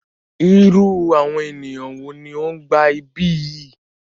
Irú àwọn ènìyàn wo ní o ń gba ibí yìí?